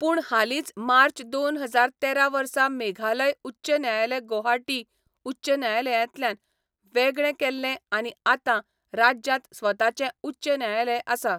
पूण हालींच मार्च दोन हजार तेरा वर्सा मेघालय उच्च न्यायालय गौहाटी उच्च न्यायालयांतल्यान वेगळें केल्लें आनी आतां राज्यांत स्वताचें उच्च न्यायालय आसा.